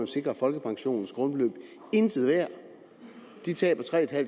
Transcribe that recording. sikre folkepensionens grundbeløb intet værd de taber tre